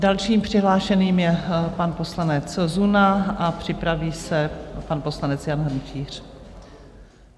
Dalším přihlášeným je pan poslanec Zuna a připraví se pan poslanec Jan Hrnčíř.